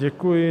Děkuji.